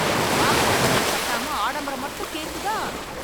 வாங்குன கடனை கட்டாம ஆடம்பரம் மட்டும் கேக்குதா